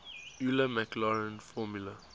euler maclaurin formula